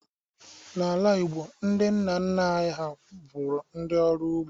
N'ala Igbo, ndị nna nna anyị ha bụrụ ndị ọrụ ugbo